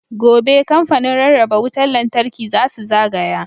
Gobe, Kamfanin Rarraba Wutar Lantarki za su zagaya.